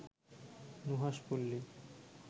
Nuhash Palli